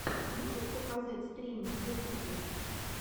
можешь показать стримы в ютубе